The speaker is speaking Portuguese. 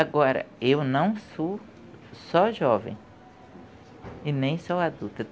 Agora, eu não sou só jovem e nem só adulta.